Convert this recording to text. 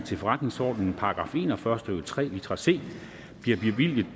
til forretningsordenens § en og fyrre stykke tre litra c blev bevilget